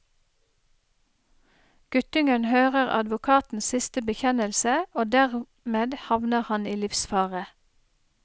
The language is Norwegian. Guttungen hører advokatens siste bekjennelse, og dermed havner han i livsfare.